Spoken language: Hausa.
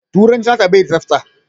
Turanci nata bai da tsafta.